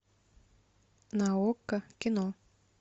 на окко кино